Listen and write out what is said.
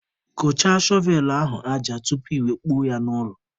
Kụchaa shọvelụ ahụ aja tupu iwe kpuo ya n'ụlọ!